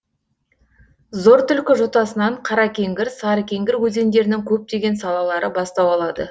зортүлкі жотасынан қаракеңгір сарыкеңгір өзендерінің көптеген салалары бастау алады